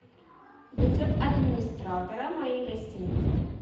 вызов администратора моей гостиницы